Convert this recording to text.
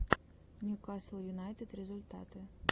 ньюкасл юнайтед результаты